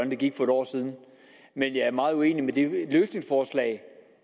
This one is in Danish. det gik for en år siden men jeg er meget uenig i det løsningsforslag